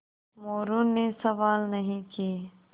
मोरू ने सवाल नहीं किये